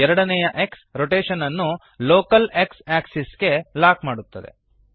ಎರಡನೆಯ X rotation ಅನ್ನು local X axis ಗೆ ಲಾಕ್ ಮಾಡುತ್ತದೆ